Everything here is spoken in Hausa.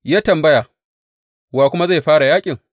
Ya tambaya, Wa kuma zai fara yaƙin?